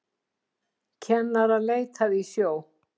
Kennara leitað í sjó